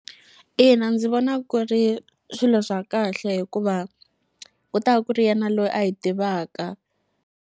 Ina, ndzi vona ku ri swilo swa kahle hikuva ku ta ku ri yena loyi a yi tivaka.